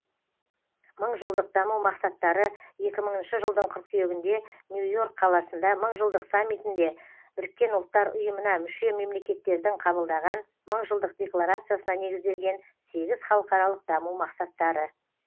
мыңжылдық даму мақсаттары екі мыңыншы жылдың қыркүйегінде нью йорк қаласында мыңжылдық саммитінде біріккен ұлттар ұйымына мүше мемлекеттердің қабылдаған мыңжылдық декларациясына негізделген сегіз халықаралық даму мақсаттары